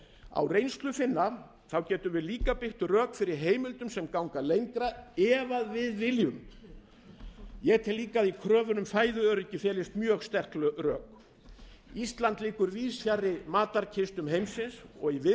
á reynslu finna getum við líka byggt rök fyrir heimildum sem ganga enn lengra ef við viljum ég tel líka að í kröfunni um fæðuöryggi felist mjög sterk rök ísland liggur víðs fjarri matarkistum heimsins í viðsjálli veröld